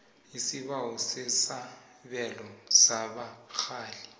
isibawo sesabelo sabarhali